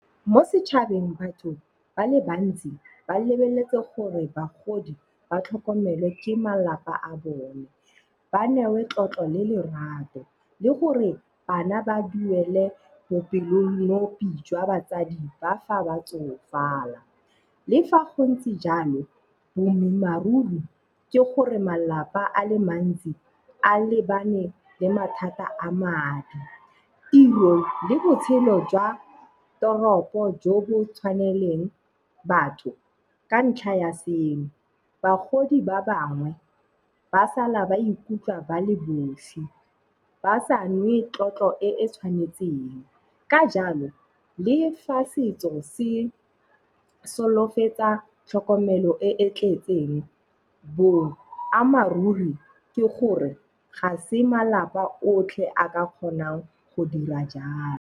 Mo setšhabeng batho ba le bantsi ba lebeletse gore bagodi ba tlhokomelwe ke malapa a bone. Ba newe tlotlo le lerato le gore bana ba duele bopelonomi jwa batsadi ba fa ba tsofala. Le fa go ntse jalo, boammaaruri ke gore malapa a le mantsi a lebane le mathata a madi, tiro le botshelo jwa toropo jo bo tshwanetseng batho ka ntlha ya seno. Bagodi ba bangwe ba sala ba ikutlwa ba le bosi ba sa nwe tlotlo e e tshwanetseng. Ka jalo, le fa setso se solofetsa tlhokomelo e e tletseng, boammaruri ke gore ga se malapa otlhe a ka kgonang go dira jalo.